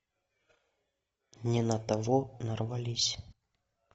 не на того нарвались